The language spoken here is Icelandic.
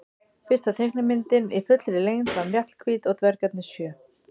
Fyrsta teiknimyndin í fullri lengd var Mjallhvít og dvergarnir sjö.